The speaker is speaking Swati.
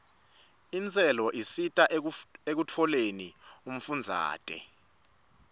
intselo isita ekutfoleni umfundzate